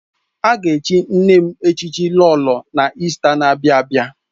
A ga-echi nne m echichi Lolo n'Ista n'abia abịa